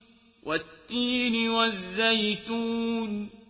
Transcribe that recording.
وَالتِّينِ وَالزَّيْتُونِ